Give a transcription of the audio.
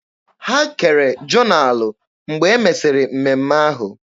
Ha kere jonalụ mgbe e mesịrị mmemme ahụ.